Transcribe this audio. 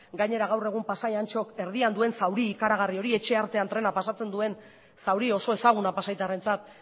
gainera gaur egun pasai antxok erdian duen zauri ikaragarri hori etxe artean trena pasatzen duen zauri oso ezaguna pasaitarrentzat